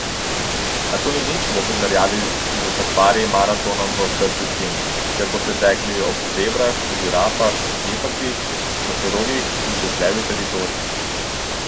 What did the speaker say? A to ni nič v primerjavi s safari maratonom v osrčju Kenije, kjer boste tekli ob zebrah, žirafah, gepardih, nosorogih in čez levji teritorij.